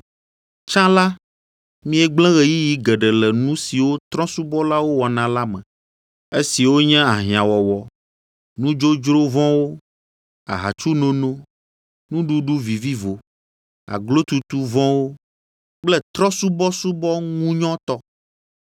Tsã la, miegblẽ ɣeyiɣi geɖe le nu siwo trɔ̃subɔlawo wɔna la me, esiwo nye ahiãwɔwɔ, nudzodzro vɔ̃wo, ahatsunono, nuɖuɖu vivivo, aglotutu vɔ̃wo kple trɔ̃subɔsubɔ ŋunyɔtɔ.